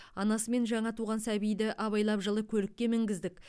анасы мен жаңа туған сәбиді абайлап жылы көлікке мінгіздік